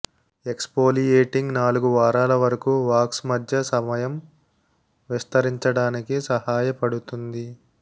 exfoliating నాలుగు వారాల వరకు వాక్స్ మధ్య సమయం విస్తరించడానికి సహాయపడుతుంది